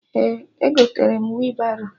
Ee, egotere m wị baro